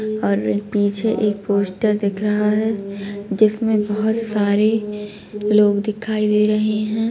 और पीछे एक पोस्टर दिख रहा है जिसमें बहोत सारे लोग दिखाई दे रहे हैं।